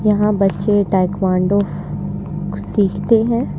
यहां बच्चे ताइक्वांडो सीखते हैं।